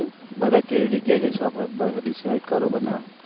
બધા કે એ જગ્યા એ જઈશુ આપણે mobile મા decide કરો બધા